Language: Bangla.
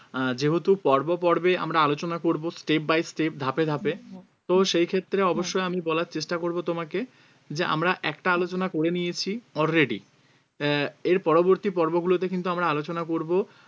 আহ যেহেতু পর্বপর্বে আমরা আলোচনা করবো step by step ধাপে ধাপে তো সেই ক্ষেত্রে অবশ্যই আমি বলার চেষ্টা করবো তোমাকে যে আমরা একটা আলোচনা করে নিয়েছি already আহ এর পরবর্তী পর্বগুলোতে কিন্তু আমরা আলোচনা করবো